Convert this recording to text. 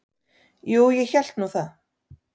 Jú, ég hélt nú það.